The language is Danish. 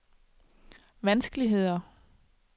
vanskeligheder